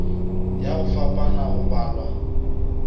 ya go fapana go balwa